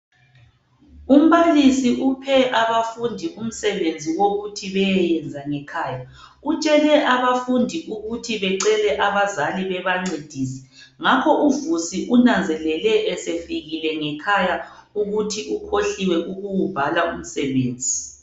Umbalisi uphe abafundi umsebenzi ukuthi beyeyenza ngekhaya. Utshele abafundi ukuthi becele abazali bebancedise ngakho uVusi unanzele esefikile ngekhaya ukuthi ukhohliwe ukuwubhala umsebenzi.